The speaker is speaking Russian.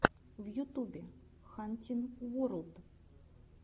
на ютубе хантин ворлд